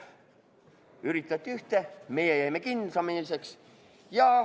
Üritati ühte, meie jäime kindlameelseks.